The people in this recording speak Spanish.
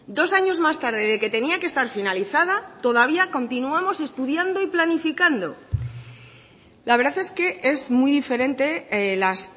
dos años más tarde de que tenía que estar finalizada todavía continuamos estudiando y planificando la verdad es que es muy diferente las